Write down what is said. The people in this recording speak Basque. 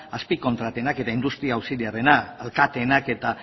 azpikontratena eta industria auxiliarrena alkateenak eta